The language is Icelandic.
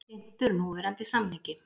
Hlynntur núverandi samningi